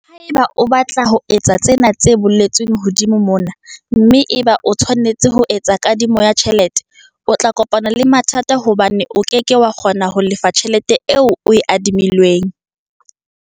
Haeba o batla ho etsa tsena tse boletsweng hodimo mona, mme eba o tshwanetse ho etsa kadimo ya tjhelete, o tla kopana le mathata hobane o ke ke wa kgona ho lefa tjhelete eo o e adimilweng.